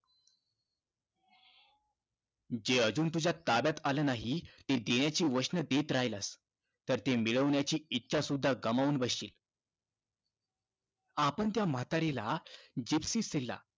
जे अजून तुझ्या ताब्यात आलं नाही ते देण्याची वचनं देत राहिलास, तर ते मिरवण्याची इच्छासुद्धा गमावून बसशील. आपण त्या म्हातारीला, जीप्सिसीला